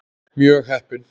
Mjög heppin.